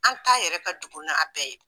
An ta yɛrɛ ka jugu n'a bɛɛ ye